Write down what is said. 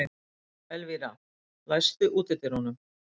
Elvira, læstu útidyrunum.